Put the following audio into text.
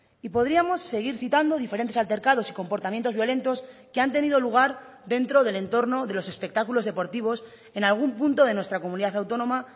y podríamos seguir citando diferentes altercados y comportamientos violentos que han tenido lugar dentro del entorno de los espectáculos deportivos en algún punto de nuestra comunidad autónoma